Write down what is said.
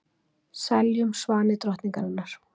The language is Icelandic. Seljum svani drottningarinnar